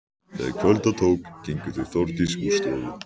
Þegar kvölda tók gengu þau Þórdís úr stofu.